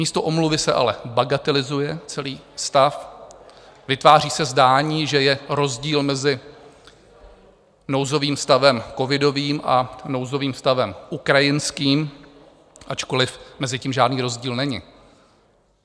Místo omluvy se ale bagatelizuje celý stav, vytváří se zdání, že je rozdíl mezi nouzovým stavem covidovým a nouzovým stavem ukrajinským, ačkoliv mezi tím žádný rozdíl není.